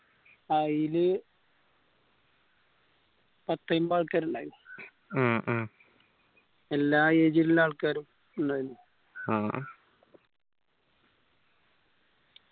ആയിൽ പത്തയ്മ്പത് ആൾകാർ ഇണ്ടായിന് ഉം ഉം എല്ലാ age ൽ ഉള്ള ആൾക്കാരും ഉണ്ടായിരുന്നു ഉം